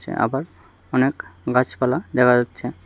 আবার অনেক গাছপালা দেখা যাচ্ছে।